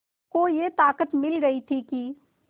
को ये ताक़त मिल गई थी कि